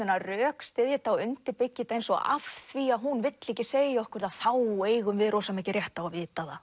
að rökstyðja þetta og undirbyggja eins og af því að hún vill ekki segja okkur það þá eigum við rosa mikinn rétt á að vita það